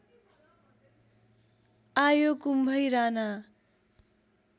आयो कुम्भै राना